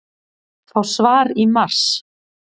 Fá svar í mars